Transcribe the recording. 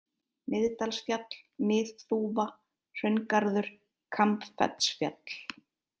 Miðdalsfjall, Miðþúfa, Hraungarður, Kambfellsfjall